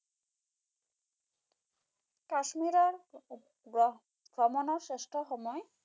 কাশ্মীৰৰ ভ্ৰমণৰ শ্ৰেষ্ঠ সময়